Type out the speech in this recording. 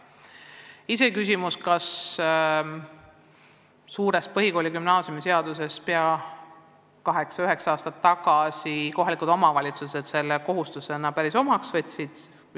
Omaette küsimus on, kas kohalikud omavalitsused selle uuendatud põhikooli- ja gümnaasiumiseaduses toodud kohustuse, mis kiideti heaks kaheksa-üheksa aastat tagasi, ikka päris omaks on võtnud.